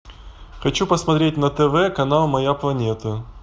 хочу посмотреть на тв канал моя планета